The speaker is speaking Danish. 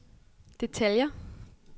detaljer